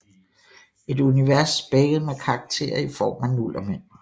Et univers spækket med karakterer i form af nullermænd